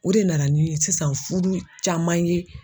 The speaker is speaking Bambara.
O de nana ni sisan fudu caman ye.